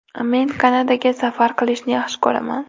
Men Kanadaga safar qilishni yaxshi ko‘raman.